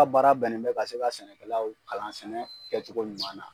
ka baara bɛnnen bɛ ka se ka sɛnɛkɛlaw kalan sɛnɛ kɛcogo ɲuman na.